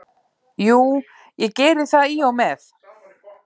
Jú, ég geri það í og með.